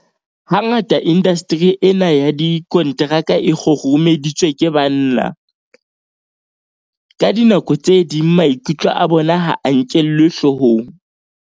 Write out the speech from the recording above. Hangata indasteri ena ya dikonteraka e kgurumeditswe ke banna. Ka dinako tse ding maikutlo a bona ha a nkelwe hloohong.